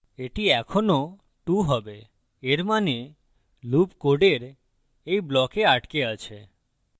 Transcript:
that এখনও 2 হবে এর means loop code এই block আটকে আছে